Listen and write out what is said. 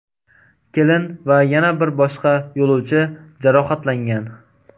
Kelin va yana bir boshqa yo‘lovchi jarohatlangan.